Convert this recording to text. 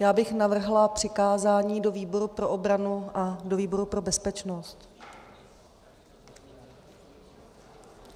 Já bych navrhla přikázání do výboru pro obranu a do výboru pro bezpečnost.